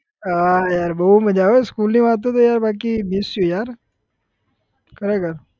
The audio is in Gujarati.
હા yaar બહુ મજા આવે school ની વાતો તો yaar બાકી miss you yaar ખરેખર